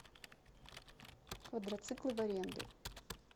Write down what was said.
квадроциклы в аренду